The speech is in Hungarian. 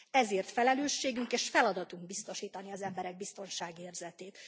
Ezért felelősségünk és feladatunk biztosítani az emberek biztonságérzetét.